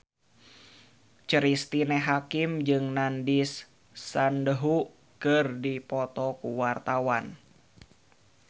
Cristine Hakim jeung Nandish Sandhu keur dipoto ku wartawan